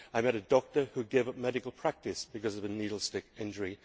I met a doctor who gave up medical practice because of a needle stick injury.